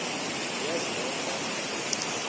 niyazi nonk apha